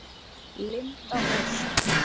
Linda Ósk.